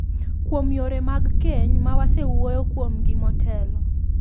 kuom yore mag keny ma wasewuoyo kuomgi motelo.